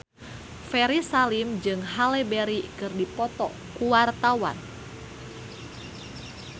Ferry Salim jeung Halle Berry keur dipoto ku wartawan